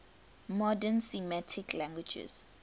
modern semitic languages